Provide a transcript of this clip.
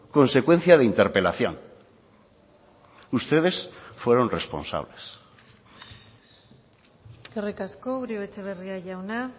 consecuencia de interpelación ustedes fueron responsables eskerrik asko uribe etxebarria jauna